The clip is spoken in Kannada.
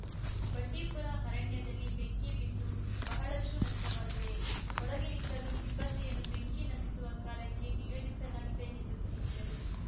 ಬಂಡಿಪುರ ಅರಣ್ಯದಲ್ಲಿ ಬೆಂಕಿ ಬಿದ್ದು ಬಹಳಷ್ಟುನಷ್ಟವಾಗಿದೆ ಹೊರಗಿನಿಂದಲೂ ಸಿಬ್ಬಂದಿಯನ್ನು ಬೆಂಕಿ ನಂದಿಸುವ ಕಾರ್ಯಕ್ಕೆ ನಿಯೋಜಿಸಲಾಗಿದೆ ಎಂದು ತಿಳಿಸಿದರು